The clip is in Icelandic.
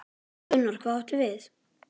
Gunnar: Hvað áttu við?